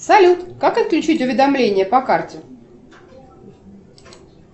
салют как отключить уведомления по карте